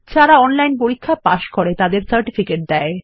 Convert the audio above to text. যারা অনলাইন পরীক্ষা পাস করে তাদের সার্টিফিকেট দেয়